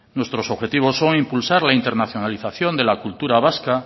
nuestros objetivos son impulsar la internacionalización de la cultura vasca